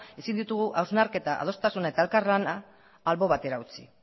ezin ditugu hausnarketa adostasuna eta elkarlana albo batera utzi